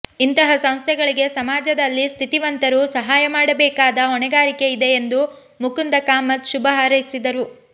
ಇಂತಹ ಸಂಸ್ಥೆಗಳಿಗೆ ಸಮಾಜದಲ್ಲಿ ಸ್ಥಿತಿವಂತರು ಸಹಾಯ ನೀಡಬೇಕಾದ ಹೊಣೆಗಾರಿಕೆ ಇದೆ ಎಂದು ಮುಕುಂದ ಕಾಮತ್ ಶುಭ ಹಾರೈಸಿದರು